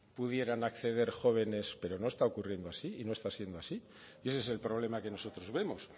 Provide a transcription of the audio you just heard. pudieran acceder jóvenes pero no está ocurriendo así y no está siendo así y ese es el problema que nosotros vemos